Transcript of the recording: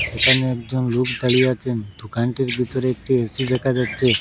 এখানে একজন লোক দাঁড়িয়ে আছেন দুকানটির বিতরে একটি এ_সি দেখা যাচ্চে ।